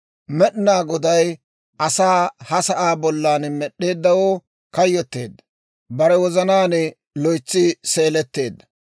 Med'inaa Goday asaa ha sa'aa bollan med'd'eeddawoo kayyotteedda; bare wozanaan loytsi seeletteedda.